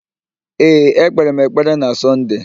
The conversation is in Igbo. Ee, ekpere m ekpere na Sọnde.